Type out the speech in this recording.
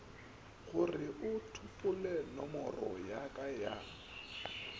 goreo tsopolenomoro ya ka ya